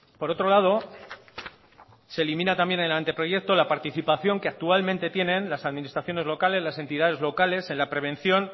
por otro lado se elimina también en el anteproyecto la participación que actualmente tienen las administraciones locales las entidades locales en la prevención